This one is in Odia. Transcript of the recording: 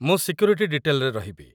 ମୁଁ ସିକ୍ୟୁରିଟି ଡିଟେଲ୍‌ରେ ରହିବି ।